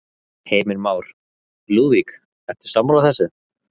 Heimir Már: Lúðvík, ertu sammála þessu?